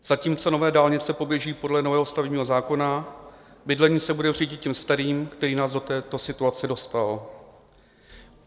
Zatímco nové dálnice poběží podle nového stavebního zákona, bydlení se bude řídit tím starým, který nás do této situace dostal.